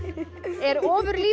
er